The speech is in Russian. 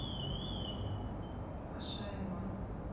ашаиман